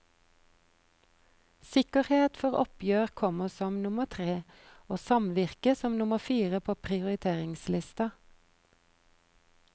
Sikkerhet for oppgjør kommer som nummer tre og samvirke som nummer fire på prioriteringslista.